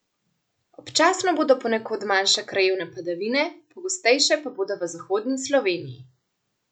Občasno bodo ponekod manjše krajevne padavine, pogostejše pa bodo v zahodni Sloveniji.